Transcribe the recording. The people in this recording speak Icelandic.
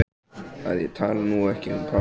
Að ég tali nú ekki um pabba hennar.